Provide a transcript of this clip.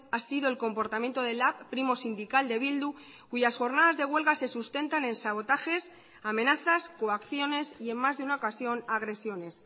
ha sido el comportamiento de lab primo sindical de bildu cuyas jornadas de huelga se sustentan en sabotajes amenazas coacciones y en más de una ocasión agresiones